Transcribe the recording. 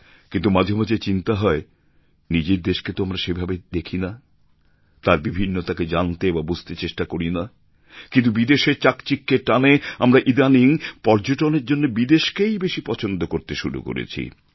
কিন্তু মাঝে মাঝে চিন্তা হয় নিজের দেশকে তো আমরা সেভাবে দেখি না তার বিভিন্নতাকে জানতে বা বুঝতে চেষ্টা করিনা কিন্তু বিদেশের চাকচিক্যের টানে আমরা ইদানিং পর্যটনের জন্য বিদেশকেই বেশি পছন্দ করতে শুরু করেছি